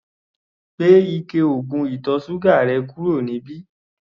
Gbé ike oògùn ìtọ̀ ṣúgà rẹ̀ kúrò níbí!